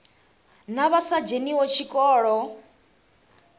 na vha sa dzheniho tshikolo